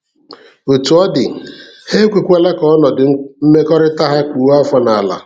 Otú ọ dị, ha ekwekwala ka ọnọdụ mmekọrịta ha kpụọ afọ n'ala.